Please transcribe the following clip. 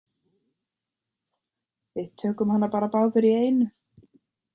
Við tökum hana bara báðir í einu